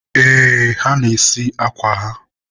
ee, ha na-esi akwa ha..